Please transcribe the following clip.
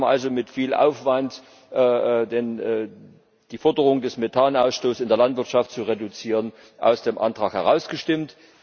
Wir haben also mit viel Aufwand die Forderung den Methanausstoß in der Landwirtschaft zu reduzieren, aus dem Antrag herausgestimmt.